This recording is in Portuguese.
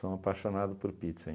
Sou um apaixonado por pizza.